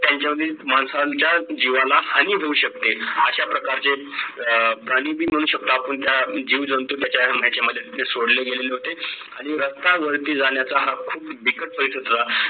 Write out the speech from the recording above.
त्यांच्या वीस माणसांच्या जीवाला हानी होऊ शकते अश्या प्रकारचे अह प्राणी बी म्हणू शकतो आपण त्या जीव जंतू त्याच्या मध्ये सोडले गेलेले होते आणि रस्त्यांवरती जाण्याचा हा खूप बिकट प्रसंग होता